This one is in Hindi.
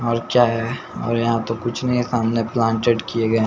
और क्या है और यहां तो कुछ नहीं है सामने प्लांटेड किए गए --